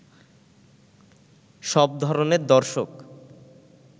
সব ধরণের দর্শক